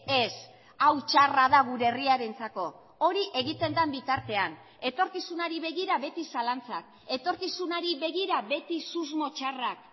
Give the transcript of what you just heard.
ez hau txarra da gure herriarentzako hori egiten den bitartean etorkizunari begira beti zalantzak etorkizunari begira beti susmo txarrak